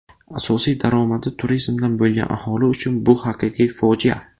Asosiy daromadi turizmdan bo‘lgan aholi uchun bu haqiqiy fojia.